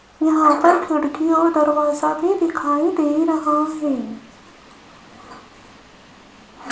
यहां पर खिड़की और दरवाजा भी दिखाई दे रहा है।